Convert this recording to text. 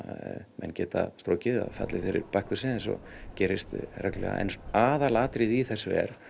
menn geta strokið eða fallið fyrir Bakkusi eins og gerist reglulega en aðalatriðið í þessu er